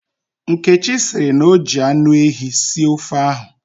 Nkechi sịrị na o ji anụehi sie ofe ahụ.